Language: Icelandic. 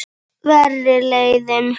Verri leiðin.